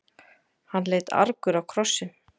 Hann leit argur á krossinn.